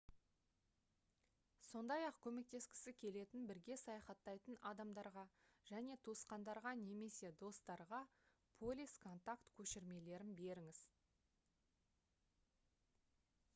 сондай-ақ көмектескісі келетін бірге саяхаттайтын адамдарға және туысқандарға немесе достарға полис/контакт көшірмелерін беріңіз